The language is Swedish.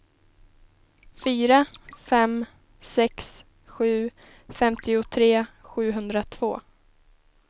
fyra fem sex sju femtiotre sjuhundratvå